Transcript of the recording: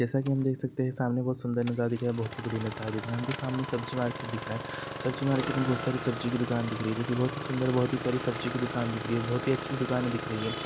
जैसा की हम देख सकते है सामने बहुत सुंदर नजारा दिख रहा है बहुत ही बढ़िया नजारा दिख रहा है और हमको सामने सब्जी मार्केट दिख रहा है सब्जी मार्केट मे बहुत सारी सब्जी की दुकान दिख रही है जो कि बहुत ही सुंदर बहुत प्यारी सब्जी की दुकान दिख रही है बहुत ही अच्छी दुकाने दिख रही है।